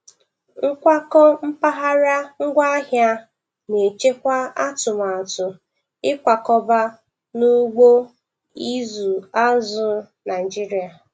Nkwakọ mpaghara ngwaahịa na-echekwa atụmatụ ịkwakọba n'ugbo ịzụ azụ Naịjiria